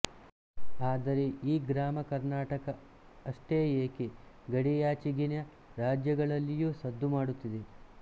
ಆದರೆ ಈ ಗ್ರಾಮ ಕರ್ನಾಟಕ ಅಷ್ಟೇ ಏಕೆ ಗಡಿಯಾಚೆಗಿನ ರಾಜ್ಯಗಳಲ್ಲಿಯೂ ಸದ್ದು ಮಾಡುತ್ತಿದೆ